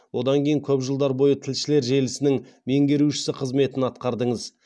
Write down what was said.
одан кейін көп жылдар бойы тілшілер желісінің меңгерушісі қызметін атқардыңыз